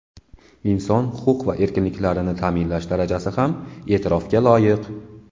Inson huquq va erkinliklarini ta’minlash darajasi ham e’tirofga loyiq.